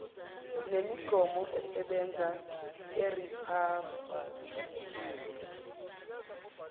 nemigomo esebenza eriphabhuliki